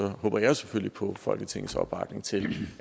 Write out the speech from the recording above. håber jeg selvfølgelig på folketingets opbakning til